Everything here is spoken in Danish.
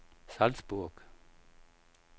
Salzburg